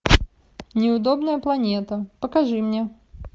неудобная планета покажи мне